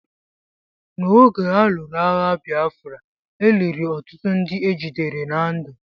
N'oge a lụrụ agha Bịafra, e liri ọtụtụ ndị ejidere na ndụ.